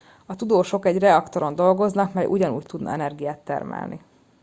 a tudósok egy reaktoron dolgoznak mely ugyanúgy tudna energiát termelni